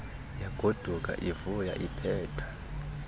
yagoduka ivuya iiphethwe